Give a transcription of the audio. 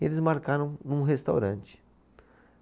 E eles marcaram num restaurante.